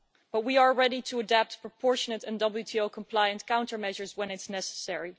But we are ready to adapt proportionate and WTO compliance countermeasures when it's necessary.